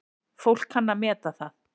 Fólk kann að meta það.